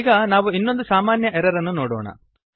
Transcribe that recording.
ಈಗ ನಾವು ಇನ್ನೊಂದು ಸಾಮಾನ್ಯ ಎರರ್ ಅನ್ನು ನೋಡೋಣ